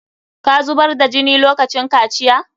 Ka zubar da jini lokacin kaciya?